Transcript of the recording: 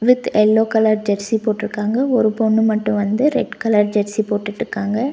With yellow colour jersey போட்டுருக்காங்க ஒரு பொண்ணு மட்டும் வந்து ரெட் கலர் ஜெர்சி போட்டுட்டுக்காங்க.